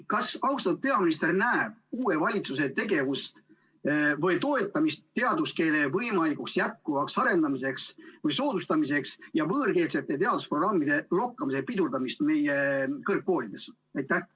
Kas austatud peaminister näeb, et uus valitsus toetab teaduskeele võimalikku jätkuvat arendamist või selle soodustamist ja pidurdab võõrkeelsete teadusprogrammide lokkamist meie kõrgkoolides?